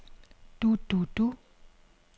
du du du